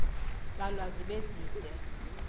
tsalwa zibe zide